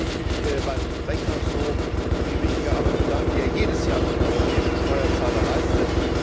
Zunächst möchte ich mich beim Rechnungshof für die wichtige Arbeit bedanken, die er jedes Jahr für den europäischen Steuerzahler leistet.